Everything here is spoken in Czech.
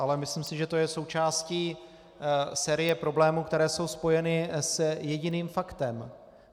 Ale myslím si, že to je součástí série problémů, které jsou spojeny s jediným faktem.